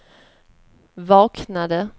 vaknade